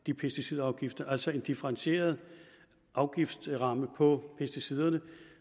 de pesticidafgifter altså en differentieret afgiftsramme for pesticiderne